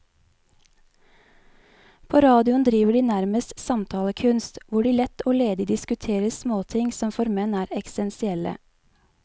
På radioen driver de nærmest samtalekunst, hvor de lett og ledig diskuterer småting som for menn er eksistensielle.